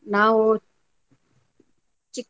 ನಾವು.